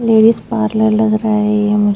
ladies parlour लग रहा है ये मुझे --